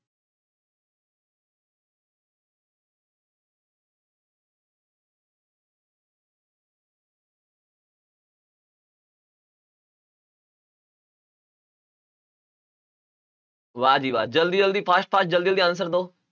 ਵਾਹ ਜੀ ਵਾਹ ਜ਼ਲਦੀ ਜ਼ਲਦੀ fast fast ਜ਼ਲਦੀ ਜ਼ਲਦੀ answer ਦਿਓ